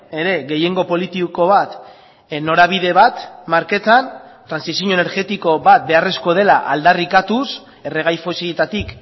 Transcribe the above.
ere gehiengo politiko bat norabide bat marketan trantsizio energetiko bat beharrezkoa dela aldarrikatuz erregai fosiletatik